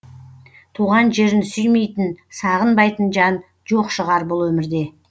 туған жерін сүймейтін сағынбайтын жан жоқ шығар бұл өмірде